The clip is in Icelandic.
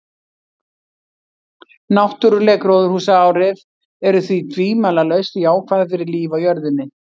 Náttúruleg gróðurhúsaáhrif eru því tvímælalaust jákvæð fyrir líf á jörðinni.